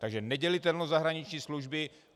Takže nedělitelnost zahraniční služby.